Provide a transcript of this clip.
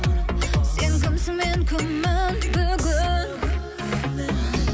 сен кімсің мен кіммін бүгін